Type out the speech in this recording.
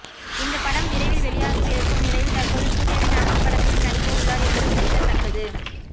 இந்த படம் விரைவில் வெளியாகவிருக்கும் நிலையில் தற்போது சூர்யாவின் அடுத்த படத்திலும் நடிக்க உள்ளார் என்பது குறிப்பிடத்தக்கது